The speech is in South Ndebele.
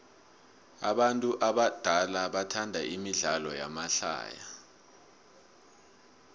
abantu abadala bathanda imidlalo yamahlaya